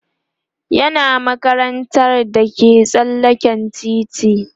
yana makarantar da ke tsallaken titi